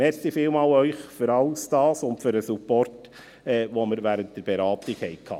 Vielen Dank an Sie für all dies und für den Support, den wir während den Beratungen hatten.